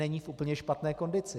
Není v úplně špatné kondici.